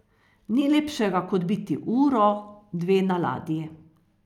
Ni lepšega kot biti uro, dve na ladji.